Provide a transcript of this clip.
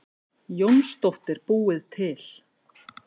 Jónsdóttir búið til.